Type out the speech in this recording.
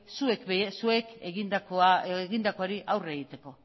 zuek egindakoari aurre egiteko